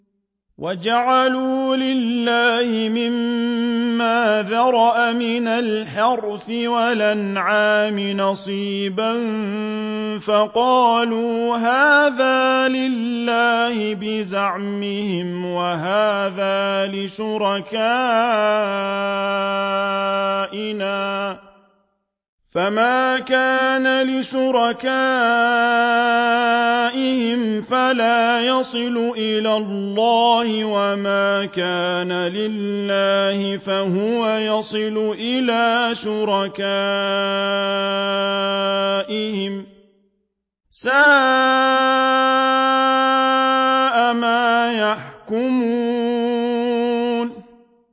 وَجَعَلُوا لِلَّهِ مِمَّا ذَرَأَ مِنَ الْحَرْثِ وَالْأَنْعَامِ نَصِيبًا فَقَالُوا هَٰذَا لِلَّهِ بِزَعْمِهِمْ وَهَٰذَا لِشُرَكَائِنَا ۖ فَمَا كَانَ لِشُرَكَائِهِمْ فَلَا يَصِلُ إِلَى اللَّهِ ۖ وَمَا كَانَ لِلَّهِ فَهُوَ يَصِلُ إِلَىٰ شُرَكَائِهِمْ ۗ سَاءَ مَا يَحْكُمُونَ